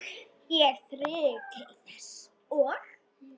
Ég þríf til þess og